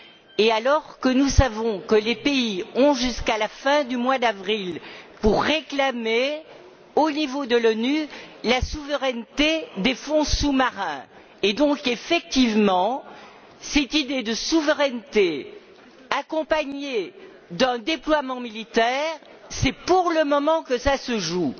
et alors que nous savons que les pays ont jusqu'à la fin du mois d'avril pour réclamer, au niveau de l'ONU, la souveraineté des fonds sous marins et donc, effectivement, cette idée de souveraineté, accompagnée d'un déploiement militaire, c'est pour le moment que ça se joue.